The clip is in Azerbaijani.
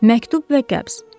Məktub və qəbz.